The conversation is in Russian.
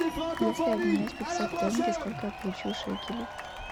если обменять пятьсот тенге сколько я получу шекелей